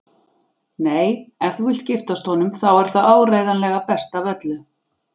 Nei, ef þú vilt giftast honum þá er það áreiðanlega best af öllu.